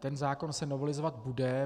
Ten zákon se novelizovat bude.